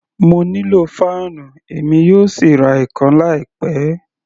Mo nílò fáànù, èmi yóò sì ra ìkan láì pẹ.